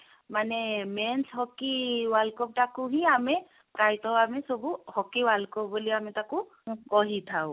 ମାନେ men's hockey world cup ଟାକୁ ହିଁ ଆମେ ପ୍ରାୟତଃ ଆମେ ସବୁ hockey world cup ବୋଲି ଆମେ ତାକୁ ଆମେ କହିଥାଉ